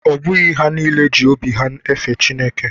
Ọ bụghị ha niile ji obi ha fee Chineke.